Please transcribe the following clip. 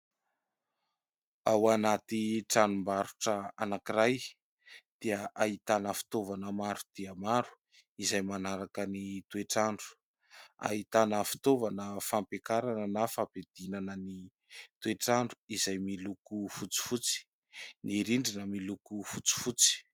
Ao anaty tranombarotra anankiray dia ahitana fitaovana maro dia maro, izay manaraka ny toetr'andro. Ahitana fitaovana fampiakarana na fampidinana ny toetr'andro izay miloko fotsifotsy. Ny rindrina miloko fotsifotsy.